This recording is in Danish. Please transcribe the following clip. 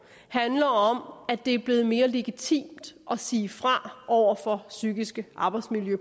handler om at det er blevet mere legitimt at sige fra over for psykiske arbejdsmiljø